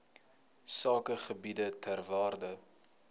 sakegebiede ter waarde